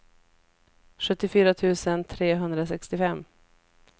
sjuttiofyra tusen trehundrasextiofem